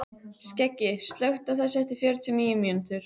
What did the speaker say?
Skeggi, slökktu á þessu eftir fjörutíu og níu mínútur.